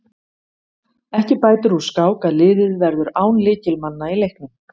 Ekki bætir úr skák að liðið verður án lykilmanna í leiknum.